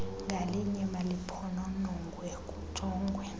ngalinye maliphononongwe kujongwe